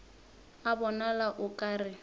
a bonala o ka re